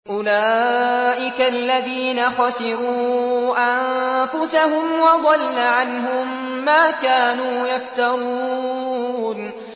أُولَٰئِكَ الَّذِينَ خَسِرُوا أَنفُسَهُمْ وَضَلَّ عَنْهُم مَّا كَانُوا يَفْتَرُونَ